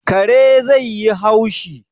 Kare zai yi haushi